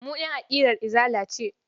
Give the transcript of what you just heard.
Mu ƴan aƙidar Izala ce.